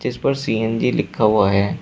इस पर सी_एन_जी लिखा हुआ है।